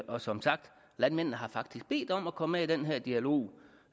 og som sagt landmændene har faktisk bedt om at komme med i den her dialog